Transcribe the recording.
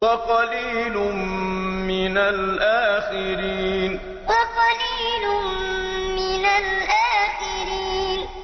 وَقَلِيلٌ مِّنَ الْآخِرِينَ وَقَلِيلٌ مِّنَ الْآخِرِينَ